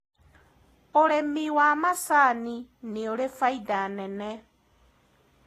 ũrĩmi wa macanĩ nĩuri baida nene